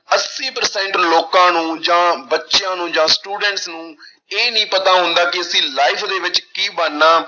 ਅੱਸੀ percent ਲੋਕਾਂ ਨੂੰ ਜਾਂ ਬੱਚਿਆਂ ਨੂੰ ਜਾਂ students ਨੂੰ ਇਹ ਨੀ ਪਤਾ ਹੁੰਦਾ ਕਿ ਅਸੀਂ life ਦੇ ਵਿੱਚ ਕੀ ਬਣਨਾ।